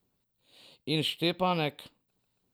In Štepanek?